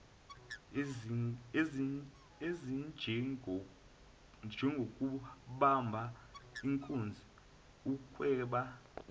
ezinjengokubamba inkunzi ukweba